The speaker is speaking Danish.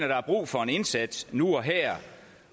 der er brug for en indsats nu og her